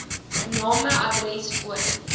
name adres woon